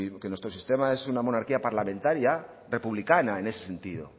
que nuestro sistema es una monarquía parlamentaria republicana en ese sentido